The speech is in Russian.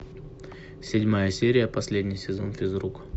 седьмая серия последний сезон физрук